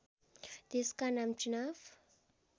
त्यसका नाम चुनाव